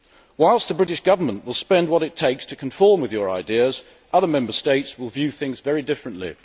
Whilst the British Government will spend what it takes to conform to your way of thinking, other Member States may view things very differently.